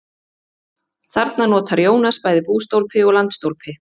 Þarna notar Jónas bæði bústólpi og landstólpi.